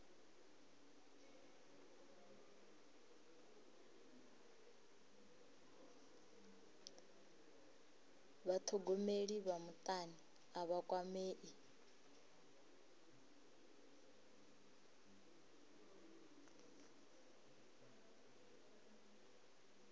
vhathogomeli vha mutani a vha kwamei